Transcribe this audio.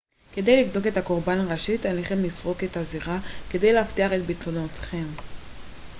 כדי לבדוק את הקורבן ראשית עליכם לסרוק את הזירה כדי להבטיח את ביטחונכם